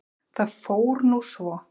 Það fór nú svo.